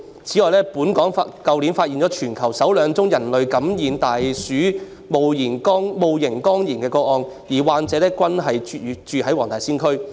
此外，本港去年發現全球首兩宗人類感染大鼠戊型肝炎的個案，而患者均居於黃大仙區。